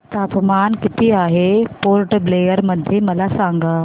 तापमान किती आहे पोर्ट ब्लेअर मध्ये मला सांगा